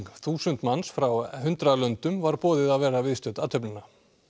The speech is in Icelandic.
þúsund manns frá hundrað löndum var boðið að vera viðstödd athöfnina